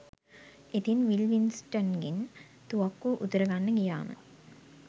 ඉතිං විල් වින්ස්ටන්ගෙන් තුවක්කුව උදුර ගන්න ගියාම